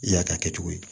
I y'a ta kɛ cogo ye